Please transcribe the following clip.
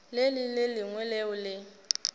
le le lengwe leo le